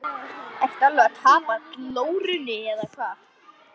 Ertu alveg að tapa glórunni eða hvað!